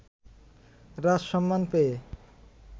রাজসম্মান পেয়ে